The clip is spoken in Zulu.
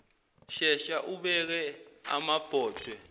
shesha ubeke amabhodwe